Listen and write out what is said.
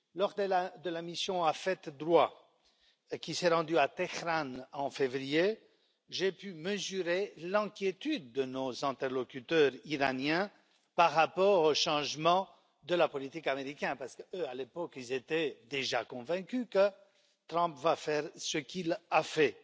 Lors de la mission AFET DROI qui s'est rendue à Téhéran en février, j'ai pu mesurer l'inquiétude de nos interlocuteurs iraniens par rapport au changement de la politique américaine, parce que eux, à l'époque, étaient déjà convaincus que Trump allait faire ce qu'il a fait.